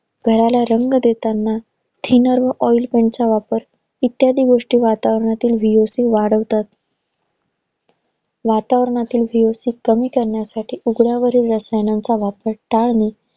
घराला रंग देताना thinner व oilpaint चा वापर इत्यादी गोष्टीचा वापर वातावरणातील VOC वाढवतात. वातावरणातील VOC कमी करण्यासाठी उग्रवरील रसायनांचा वापर टाळणे,